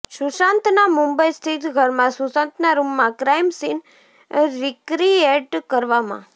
સુશાંતના મુંબઈ સ્થિત ઘરમાં સુશાંતના રૂમમાં ક્રાઈમ સીન રિક્રિએટ કરવામાં